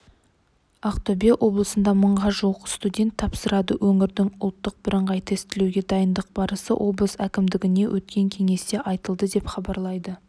ақтөбе облысында мыңға жуық студент тапсырады өңірдің ұлттық бірыңғай тестілеуге дайындық барысы облыс әкімдігінде өткен кеңесте айтылды деп хабарлайды